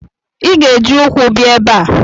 Ị ga-eji ukwu bia ebe a!